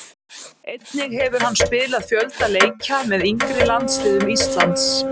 Einnig hefur hann spilað fjölda leikja með yngri landsliðum Íslands.